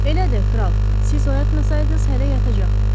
Elədir, kral, siz oyatmasaydınız hələ yatacaqdım.